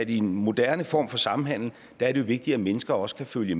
i en moderne form for samhandel er vigtigt at mennesker også kan følge